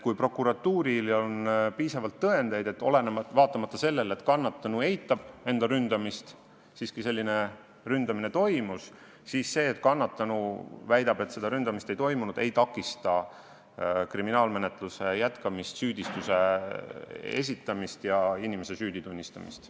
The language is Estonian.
Kui prokuratuuril on piisavalt tõendeid, et vaatamata sellele, et kannatanu eitab enda ründamist, siiski ründamine toimus, siis see, et kannatanu väidab, et seda ründamist ei toimunud, ei takista kriminaalmenetluse jätkamist, süüdistuse esitamist ja inimese süüdi tunnistamist.